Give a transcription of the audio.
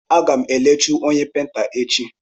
Aga m elechu onye peinta echi.